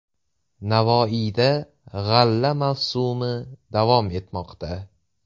Navoiyda g‘alla mavsumi davom etmoqda.